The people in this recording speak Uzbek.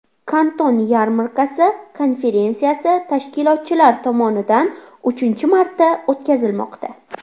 Kanton yarmarkasi konferensiyasi tashkilotchilar tomonidan uchinchi marta o‘tkazilmoqda.